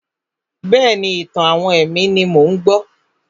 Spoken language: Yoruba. Bẹ́ẹ̀ni, ìtàn-àwọn ẹ̀mí ni mò ń gbọ́.